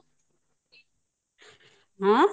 ହଁ